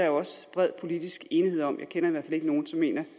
jo også bred politisk enighed om jeg kender i hvert fald ikke nogen som mener